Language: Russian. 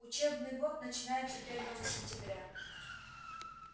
учебный год начинается первого сентября